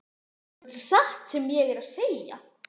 Þetta er samt satt sem ég er að segja